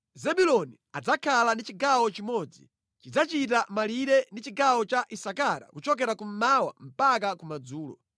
“Zebuloni adzakhala ndi chigawo chimodzi. Chidzachita malire ndi chigawo cha Isakara kuchokera kummawa mpaka kumadzulo.